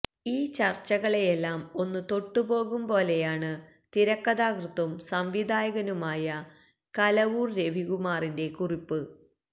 ഈ ചര്ച്ചകളെയെല്ലാം ഒന്ന് തൊട്ടുപോകും പോലെയാണ് തിരക്കഥാകൃത്തും സംവിധായകനുമായ കലവൂര് രവികുമാറിന്റെ കുറിപ്പ്